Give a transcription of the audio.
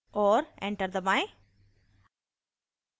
और enter दबाएं